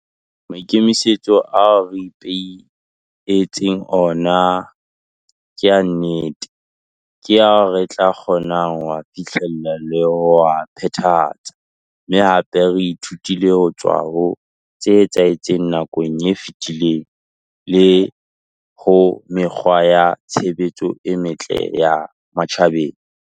Maikemisetso ao re ipehe tseng ona ke a nnete, ke ao re tla kgonang ho a fihlella le ho a phethahatsa, mme hape re ithutile ho tswa ho tse etsahetseng nakong e fetileng le ho mekgwa ya tshebetso e metle ya matjhabeng.